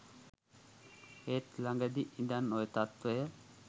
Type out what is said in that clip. ඒත් ලඟදි ඉඳන් ඔය තත්වය